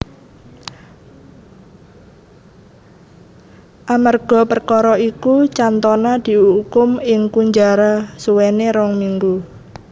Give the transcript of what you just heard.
Amerga perkara iku Cantona diukum ing kunjara suwene rong minggu